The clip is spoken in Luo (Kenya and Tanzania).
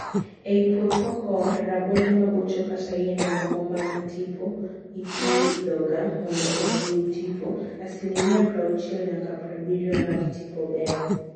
Eiy puoth cocoa, rabonde mabocho kata yiende moko mag tipo ipiyhoga mondo ohiw tipo. Asilimia prauchiel nyakka prabirio mar tipo ber.